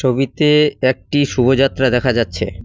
ছবিতে একটি শোভাযাত্রা দেখা যাচ্ছে।